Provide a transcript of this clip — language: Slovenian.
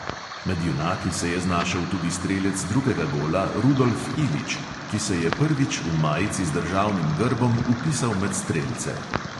Med junaki se je znašel tudi strelec drugega gola rudolf ilić, ki se je prvič v majici z državnim grbom vpisal med strelce.